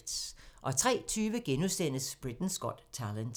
03:20: Britain's Got Talent *